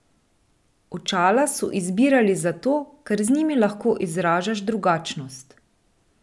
Očala so izbrali zato, ker z njimi lahko izražaš drugačnost.